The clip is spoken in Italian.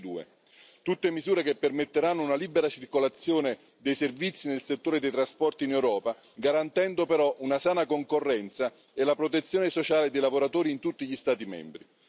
2022 tutte misure che permetteranno una libera circolazione dei servizi nel settore dei trasporti in Europa, garantendo però una sana concorrenza e la protezione sociale dei lavoratori in tutti gli Stati membri.